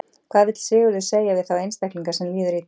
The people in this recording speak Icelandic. Hvað vill Sigurður segja við þá einstaklinga sem líður illa?